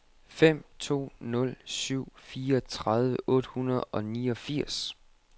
fem to nul syv fireogtredive otte hundrede og niogfirs